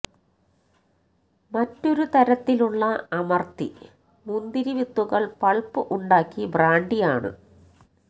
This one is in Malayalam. മറ്റൊരു തരത്തിലുള്ള അമർത്തി മുന്തിരി വിത്തുകൾ പൾപ്പ് ഉണ്ടാക്കി ബ്രാണ്ടി ആണ്